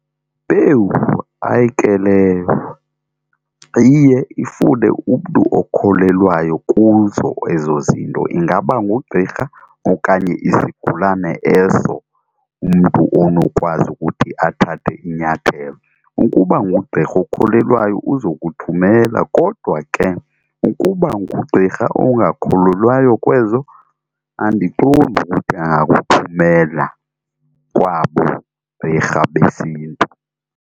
Ewu, ayike leyo iye ifune umntu okholelwayo kuzo ezo zinto ingaba ngugqirha okanye isigulane eso umntu onokwazi ukuthi athathe inyathelo. Ukuba ngugqirha okholelwayo uza kuthumela kodwa ke uba ngugqirha ongakholelwayo kwezo andiqondi ukuthi angakuthumela kwabo gqirha besiNtu.